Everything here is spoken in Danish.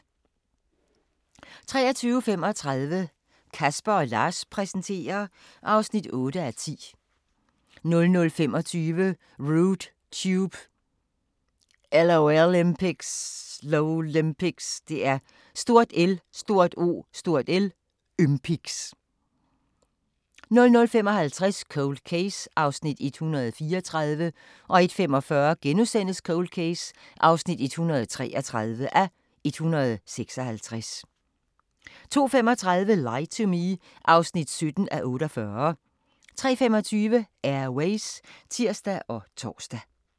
23:35: Casper & Lars præsenterer (8:10) 00:25: Rude Tube – LOLympics 00:55: Cold Case (134:156) 01:45: Cold Case (133:156)* 02:35: Lie to Me (17:48) 03:25: Air Ways (tir og tor)